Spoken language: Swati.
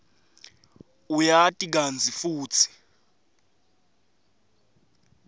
uyati kantsi futsi